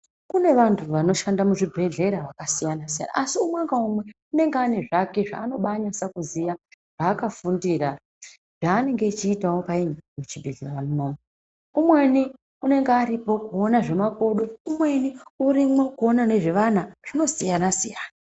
Kune vantu vanoshanda muzvibhedhlera vakasiyana siyana asi umwe ngaumwe unenge ane zvake zvaanobanyase kuziya zvaakafundira zvaanenge echiitawo payini muchibhedhleramwo umweni unenge aripo kuona zvemakodo, umweni urimwo kuona ngezvevana zvinosiyana siyana.